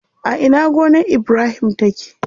A ina gonar Ibrahim take?